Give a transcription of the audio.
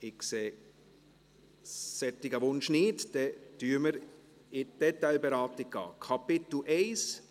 Ich sehe diesen Wunsch nicht, dann gehen wir zur Detailberatung über.